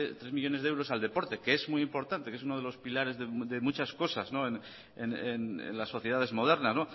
tres millónes de euros al deporte que es muy importante que es uno de los pilares de muchas cosas en las sociedades modernas